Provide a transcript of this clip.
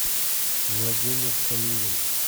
владимир калинин